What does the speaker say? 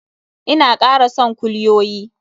Ina kara son kulyoyi.